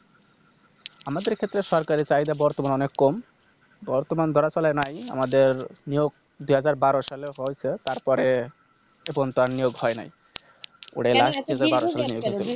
আমাদের ক্ষেত্রে সরকারি চাহিদা বর্তমানে অনেক কম বর্তমান ধরা চলে নাই আমাদের নিয়োগ দুই হাজার বারো সালে হয়তো তারপরে এখন তার নিয়োগ হয়নি